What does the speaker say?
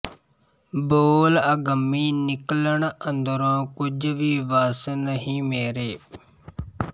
ਬੋਲ ਅਗੰਮੀ ਨਿਕਲਣ ਅੰਦਰੋਂ ਕੁਝ ਵੀ ਵਸ ਨਹੀਂ ਮੇਰੇ